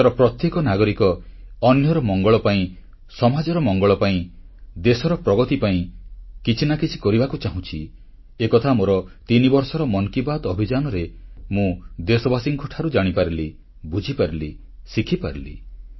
ଦେଶର ପ୍ରତ୍ୟେକ ନାଗରିକ ଅନ୍ୟର ମଙ୍ଗଳ ପାଇଁ ସମାଜର ମଙ୍ଗଳ ପାଇଁ ଦେଶର ପ୍ରଗତି ପାଇଁ କିଛି ନା କିଛି କରିବାକୁ ଚାହୁଁଛି ଏକଥା ମୋର ତିନିବର୍ଷର ମନ୍ କି ବାତ୍ ଅଭିଯାନରେ ମୁଁ ଦେଶବାସୀଙ୍କଠାରୁ ଜାଣିପାରିଲି ବୁଝିପାରିଲି ଶିଖିପାରିଲି